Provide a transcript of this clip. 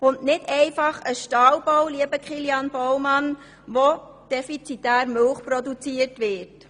Es ist nicht einfach ein Stallbau, Kilian Baumann, in dem defizitär Milch produziert wird.